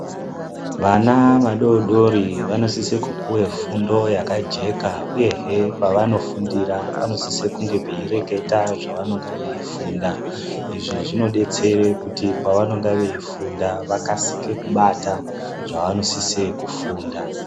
Vana vadodori vanosise puwa fundo yakajeka uyehe pavanofundira vanosise kunge peireketa zvavanenge veifunda izvivinodetsera kuti pavanenge veifunda vakasike bata zvavanosise funda.